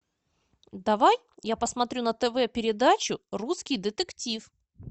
давай я посмотрю на тв передачу русский детектив